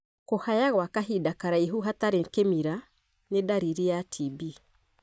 Kũhaya gwa kahinda karaihu hatarĩ kĩmira ni ndariri ya TB.